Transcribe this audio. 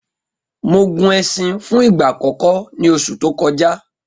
Mo gun ẹṣin fún ìgbà àkọ́kọ́ ní oṣù tó kọjá